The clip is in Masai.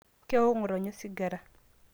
kewok ngotonye osigara